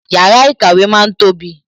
Yàrá ìkàwé ma ń tóbi